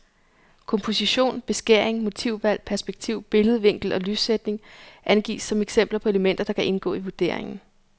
Komposition, beskæring, motivvalg, perspektiv, billedvinkel og lyssætning angives som eksempler på elementer, der kan indgå i vurderingen.